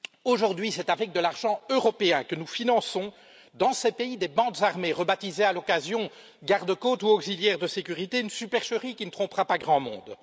Aujourd'hui, c'est avec de l'argent européen que nous finançons dans ces pays des bandes armées, rebaptisées à l'occasion garde côtes ou auxiliaires de sécurité une supercherie qui ne trompera pas grand monde.